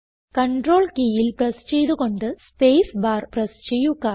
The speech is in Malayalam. കണ്ട്രോൾ കീയിൽ പ്രസ് ചെയ്ത് കൊണ്ട് സ്പേസ് ബാർ പ്രസ് ചെയ്യുക